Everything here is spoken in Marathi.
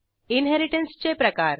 इनहेरिटन्सचे प्रकार